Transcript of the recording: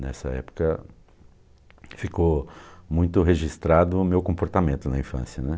Nessa época ficou muito registrado o meu comportamento na infância, né?